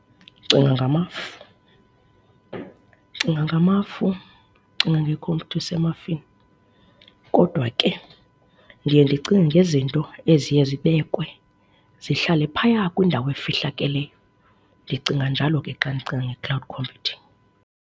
Ndinga ngamafu. Ndicinga ngamafu, ndicinga ngekhompyutha isemafini. Kodwa ke ndiye ndicinge ngezinto eziye zibekwe zihlale phaya kwindawo efihlakeleyo. Ndicinga njalo ke xa ndicinga nge-cloud computing.